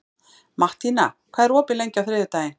Mattína, hvað er opið lengi á þriðjudaginn?